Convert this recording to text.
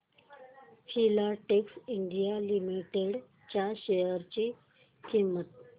Filatex India limited च्या share ची किंमत